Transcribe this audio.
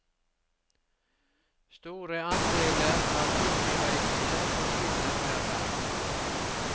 Store andeler av julireisene forsvinner hver dag.